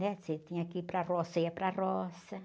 Você tinha que ir para roça, você ia para roça, né?